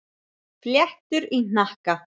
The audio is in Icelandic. Fléttur í hnakka.